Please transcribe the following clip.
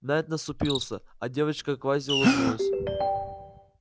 найд насупился а девочка-квази улыбнулась